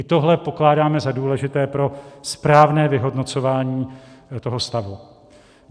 I tohle pokládáme za důležité pro správné vyhodnocování toho stavu.